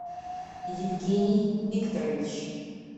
евгений викторович